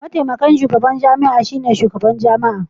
Mataimakin shugaban jami'a shine shugaban jami'a.